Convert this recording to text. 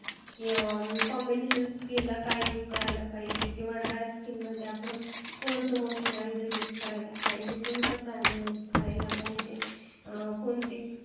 Combination skin ला काय use करायला पाहिजेल किंवा dry skin ला मध्ये आपण कोणते moisturizer use करायला पाहिजेल कोणत primer use करायला पाहिजे कोणती